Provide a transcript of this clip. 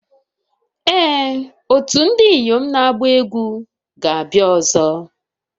Ee otu ndị inyom na-agba egwu ga-abịa ọzọ.